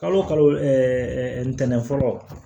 Kalo o kalo ntɛnɛn fɔlɔ